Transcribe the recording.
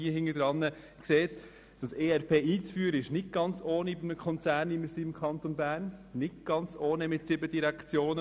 Die Einführung des ERP ist nicht ganz ohne für einen Konzern wie den Kanton Bern mit seinen sieben Direktionen.